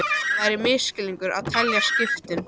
Það væri misskilningur að telja skiptin